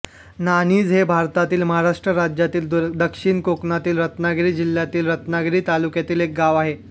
नाणिज हे भारतातील महाराष्ट्र राज्यातील दक्षिण कोकणातील रत्नागिरी जिल्ह्यातील रत्नागिरी तालुक्यातील एक गाव आहे